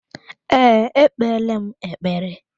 Ee, ekpeela m ekpere.